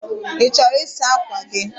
Ị chọrọ ịsa ákwà gị?